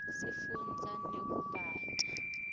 sifunza nekubata